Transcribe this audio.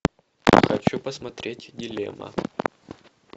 хочу посмотреть дилемма